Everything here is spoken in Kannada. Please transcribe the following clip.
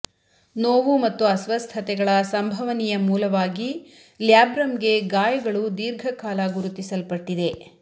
ನೋವು ಮತ್ತು ಅಸ್ವಸ್ಥತೆಗಳ ಸಂಭವನೀಯ ಮೂಲವಾಗಿ ಲ್ಯಾಬ್ರಮ್ಗೆ ಗಾಯಗಳು ದೀರ್ಘಕಾಲ ಗುರುತಿಸಲ್ಪಟ್ಟಿದೆ